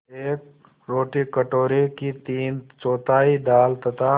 एक रोटी कटोरे की तीनचौथाई दाल तथा